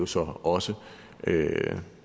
så også